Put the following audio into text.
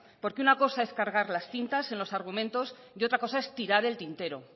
porque una cosa es cargar las tintas en los argumentos y otra cosa es tirar el tintero